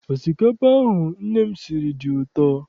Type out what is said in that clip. Osikapa ahụ nne m siri dị ụtọ.